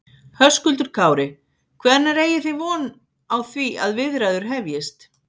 Höskuldur Kári: Hvenær eigi þið von á því að viðræður hefjist?